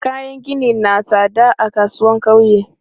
Kayan gini na tsada a kasuwan ƙauye.